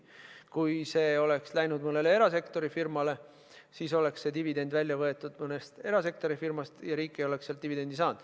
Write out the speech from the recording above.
Kui see oleks läinud mõnele erasektori firmale, siis oleks dividendis välja võetud mõnest erasektori firmast ja riik ei oleks sealt dividende saanud.